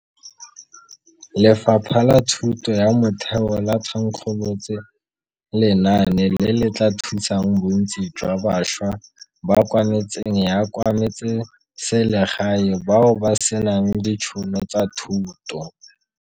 Lefapha la Thuto ya Motheo le thankgolotse lenaane le le tla thusang bontsi jwa bašwa ba kwa metseng ya kwa metseselegae bao ba senang ditšhono tsa thuto.